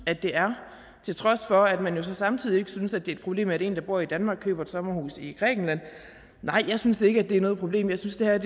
det er til trods for at man jo så samtidig ikke synes det er et problem at en der bor i danmark køber et sommerhus i grækenland nej jeg synes ikke at det er noget problem jeg synes det her er